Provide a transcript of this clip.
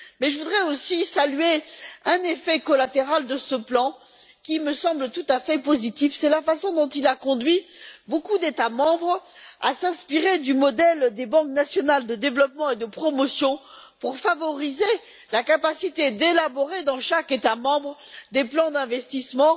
Mais je voudrais aussi saluer un effet collatéral de ce plan, qui me semble tout à fait positif c'est la façon dont il a conduit beaucoup d'États membres à s'inspirer du modèle des banques nationales de développement et de promotion pour favoriser la capacité d'élaborer, dans chaque État membre, des plans d'investissement